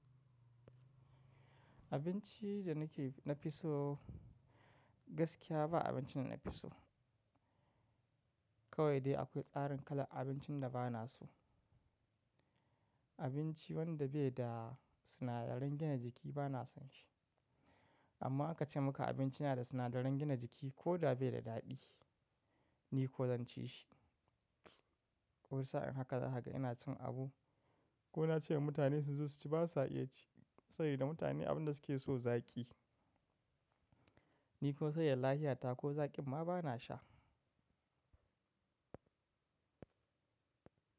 Abinci da nake na fi so gaskiya ba abinci da na fi so. Kawai dai akwai tsarin kalar abincin da ba na so. Abinci wanda bai da sinadaran gina jiki ba na son shi. Amma aka ce muka abinci na da sinadaran gina jiki koda bai da daɗi, ni ko zan ci shi. Wani sa'in haka da haka ina cin abu ko na ce wa mutane su zo su ci ba sa iya ci. Saboda mutane abin da suke so zaki. Ni ko sai ya lafiya ta ko zaƙi ma ba na sha.